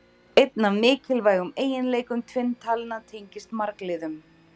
Einn af mikilvægum eiginleikum tvinntalna tengist margliðum.